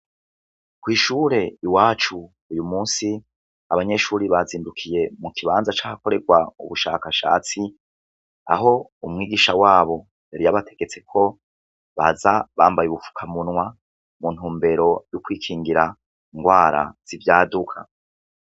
Kwishure iwacu uyumusi abanyeshure bazindukiye mukibanza cahakorerwa ubushakashatsi aho umwigisha wabo yari yabategrtse kuza bambaye ubufukamunwa kumvo zo kwigira ingwara zivyaduka.